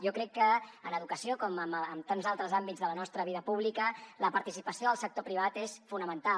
jo crec que en educació com en tants altres àmbits de la nostra vida pública la participació del sector privat és fonamental